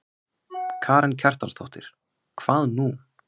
Karen Kjartansdóttir: Hvað nú?